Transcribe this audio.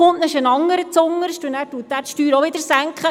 Dann ist ein anderer zuunterst, der die Steuern auch wiederum senkt.